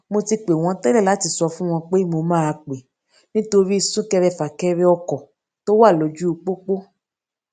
mo ti pè wón télè láti sọ fún wọn pé mo máa pé nítorí sunkẹrẹfakẹrẹ ọkò tó wà lójú popo